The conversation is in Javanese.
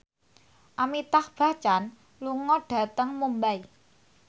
Amitabh Bachchan lunga dhateng Mumbai